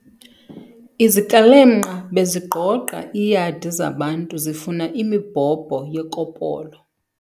Izikrelemnqa bezigqogqa iiyadi zabantu zifuna imibhobho yekopolo.